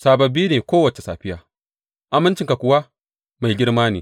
Sababbi ne kowace safiya; amincinka kuwa mai girma ne.